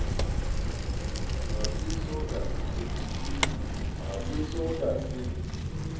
ha se so ka se